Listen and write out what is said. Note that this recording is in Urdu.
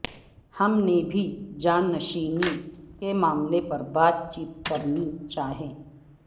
ہم نے بھی جانشینی کے معاملے پر بات چیت کرنی چاہیے